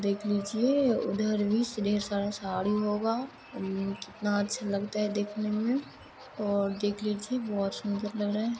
देख लीजिए उधर भी स ढेर सारा साड़ी होगा उम कितनाअच्छा लगता है देखने में और देख लीजिए बहोत सुन्दर लग रहा है।